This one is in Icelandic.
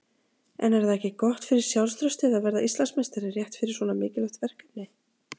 En er það ekki gott fyrir sjálfstraustið að verða Íslandsmeistari rétt fyrir svona mikilvægt verkefni?